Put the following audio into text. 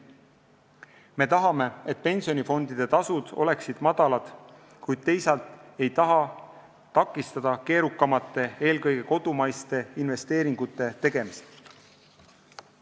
Me tahame, et pensionifondide tasud oleksid madalad, kuid teisalt ei taha me takistada keerukamate, eelkõige kodumaiste investeeringute tegemist.